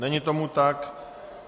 Není tomu tak.